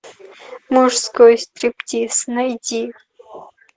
мужской стриптиз найди